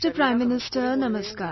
Prime Minister Namaskar